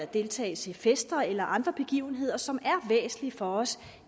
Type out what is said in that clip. deltagelse i fester eller andre begivenheder som er væsentlige for os